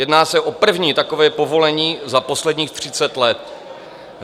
Jedná se o první takové povolení za posledních 30 let.